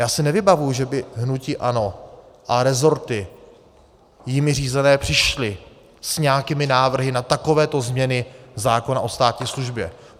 Já si nevybavuji, že by hnutí ANO a rezorty jimi řízené přišly s nějakými návrhy na takovéto změny zákona o státní službě.